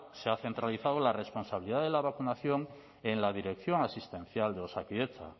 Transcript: se ha centralizado la responsabilidad de la vacunación en la dirección asistencial de osakidetza